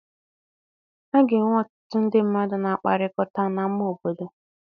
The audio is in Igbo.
A ga-enwe ọtụtụ ndị mmadụ na-akpakọrịta n'ama obodo.